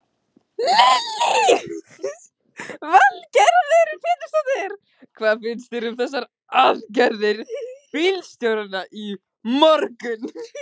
Lillý Valgerður Pétursdóttir: Hvað finnst þér um þessar aðgerðir bílstjóranna í morgun?